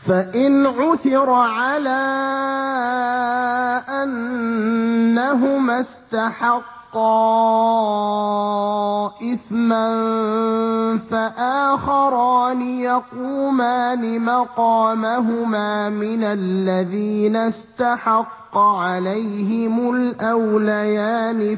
فَإِنْ عُثِرَ عَلَىٰ أَنَّهُمَا اسْتَحَقَّا إِثْمًا فَآخَرَانِ يَقُومَانِ مَقَامَهُمَا مِنَ الَّذِينَ اسْتَحَقَّ عَلَيْهِمُ الْأَوْلَيَانِ